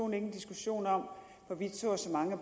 en diskussion om hvorvidt så og så mange